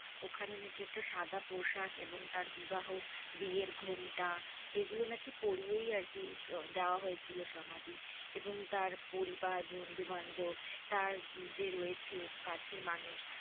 ওখানে নাকি একটা সাদা পোশাক এবং তার বিবাহ বিয়ের ঘোমটা এগুলো নাকি পড়িয়েই আরকি দেওয়া হয়েছিল সমাধি এবং তার পরিবার, বন্ধু-বান্ধব তার যে রয়েছে কাছের মানুষ